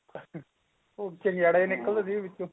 ਉਹ ਚਿੰਗਾੜੇ ਜੇ ਨਿਕਲਦੇ ਸੀ ਵਿਚੋਂ